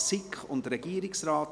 SiK / Regierungsrat